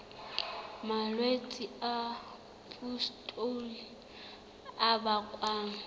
malwetse a pustule a bakwang